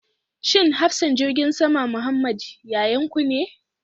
Shin hafsan jirgin sama Muhammed yayanku ne?